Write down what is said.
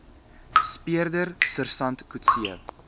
speurder sersant coetzee